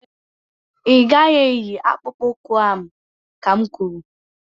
Ị gaghị eyi akpụkpu ụkwụ ahụ ka n kwuru!